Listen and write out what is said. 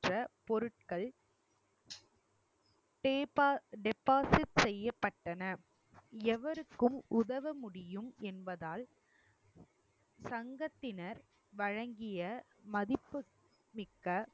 பொருட்கள் depo~ deposit செய்யப்பட்டன எவருக்கும் உதவ முடியும் என்பதால் சங்கத்தினர் வழங்கிய மதிப்புமிக்க